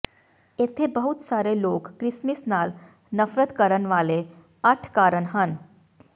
ਇੱਥੇ ਬਹੁਤ ਸਾਰੇ ਲੋਕ ਕ੍ਰਿਸਮਸ ਨਾਲ ਨਫ਼ਰਤ ਕਰਨ ਵਾਲੇ ਅੱਠ ਕਾਰਨ ਹਨ